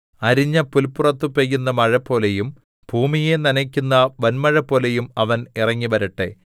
അരിഞ്ഞ പുല്പുറത്ത് പെയ്യുന്ന മഴപോലെയും ഭൂമിയെ നനയ്ക്കുന്ന വന്മഴപോലെയും അവൻ ഇറങ്ങിവരട്ടെ